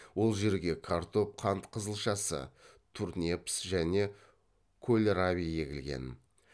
ол жерге картоп қант қызылшасы турнепс және кольраби егілген